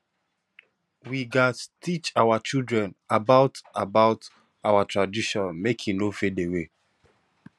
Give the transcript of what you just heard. we gats teach our children about about our traditions make e no fade away